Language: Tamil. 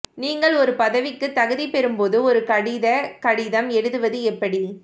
நீங்கள் ஒரு பதவிக்கு தகுதிபெறும்போது ஒரு கடித கடிதம் எழுதுவது எப்படி